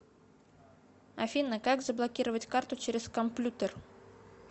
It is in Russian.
афина как заблокировать карту через комплютер